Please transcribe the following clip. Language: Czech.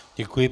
Děkuji.